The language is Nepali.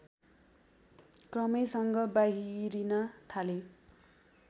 क्रमैसँग बाहिरिन थाले